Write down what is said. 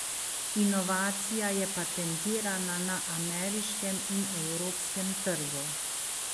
Inovacija je patentirana na ameriškem in evropskem trgu.